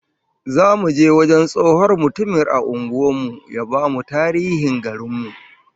Zamu je wajen tsohon mutumin a unguwar mu ya bamu tarihin garin mu